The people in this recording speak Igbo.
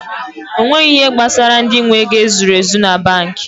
Onweghi ihe gbasara ndị nwe ego e zuru ezu banki